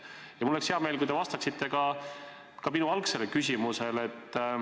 Ja mul oleks hea meel, kui te vastaksite ka minu algsele küsimusele.